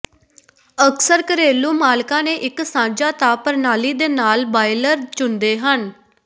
ਅਕਸਰ ਘਰੇਲੂ ਮਾਲਕਾਂ ਨੇ ਇਕ ਸਾਂਝਾ ਤਾਪ ਪ੍ਰਣਾਲੀ ਦੇ ਨਾਲ ਬਾਇਲਰ ਚੁਣਦੇ ਹਨ